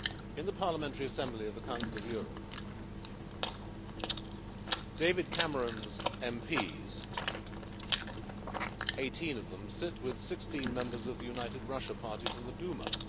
In the Parliamentary Assembly of the Council of Europe, David Cameron's MPs 18 of them sit with 16 members of the United Russia party from the Duma.